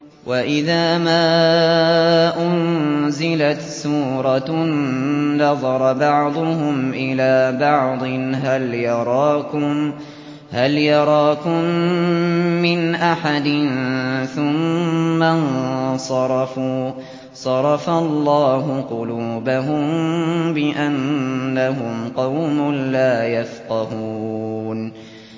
وَإِذَا مَا أُنزِلَتْ سُورَةٌ نَّظَرَ بَعْضُهُمْ إِلَىٰ بَعْضٍ هَلْ يَرَاكُم مِّنْ أَحَدٍ ثُمَّ انصَرَفُوا ۚ صَرَفَ اللَّهُ قُلُوبَهُم بِأَنَّهُمْ قَوْمٌ لَّا يَفْقَهُونَ